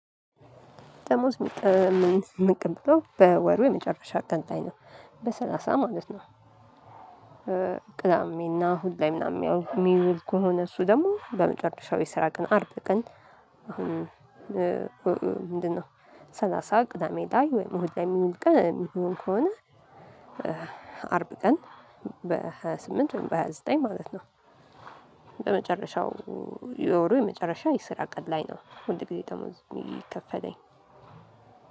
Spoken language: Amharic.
ደሞዝ የምንቀበለው በወሩ የመጨረሻ ቀን ላይ ነው በሰላሳ ማለት ነው። ቅዳሜና እሁድ ላይ ምናምን የሚውል ከሆነ እሱ ደግሞ በመጨረሻው የስራ ቀን አርብ ቀን። አሁን ምንድነው? ሰላሳ ቅዳሜ ላይ ወይም መሆን ላይ የሚል ቀን የሚሆን ከሆነ? አርብ ቀን በሃያ ስምንት በሃያ ዘጠኝ ማለት ነው። ቅዳሜና እሁድ ምናምን የሚውል ከሆነ እሱ ደግሞ በመጨረሻው የስራ ቀን አርብ ቀን አሁን ምንድነው ሰላሳ ቅዳሜ ላይ ወይም መሆን ላይ የሚል ቀን የሚሆን ከሆነ አርብ ቀን በሃያ ስምንት በሃያ ዘጠኝ ማለት ነው።